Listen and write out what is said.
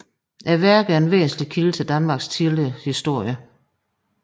Værket er en væsentlig kilde til Danmarks tidlige historie